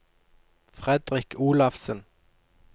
Fredrik Olafsen